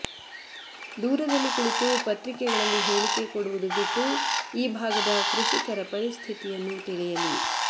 ದೂರದಲ್ಲಿ ಕುಳಿತು ಪತ್ರಿಕೆಗಳಲ್ಲಿ ಹೇಳಿಕೆ ಕೊಡುವುದು ಬಿಟ್ಟು ಈ ಭಾಗದ ಕೃಷಿಕರ ಪರಿಸ್ಥಿತಿಯನ್ನು ತಿಳಿಯಲಿ